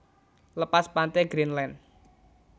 Lepas pante Greendland